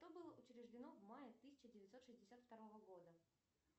что было учреждено в мае тысяча девятьсот шестьдесят второго года